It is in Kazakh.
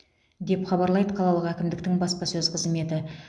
деп хабарлайды қалалық әкімдіктің баспасөз қызметі